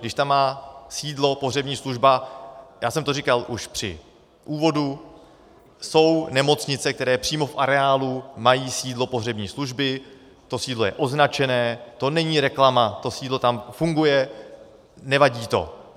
Když tam má sídlo pohřební služba, já jsem to říkal už při úvodu, jsou nemocnice, které přímo v areálu mají sídlo pohřební služby, to sídlo je označené, to není reklama, to sídlo tam funguje, nevadí to.